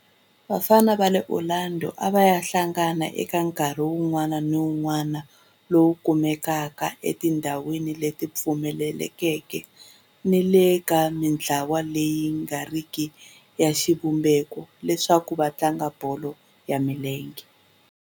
Vafana va le Orlando a va hlangana eka nkarhi wun'wana ni wun'wana lowu kumekaka etindhawini leti pfulekeke ni le ka mintlawa leyi nga riki ya xivumbeko leswaku va tlanga bolo ya milenge.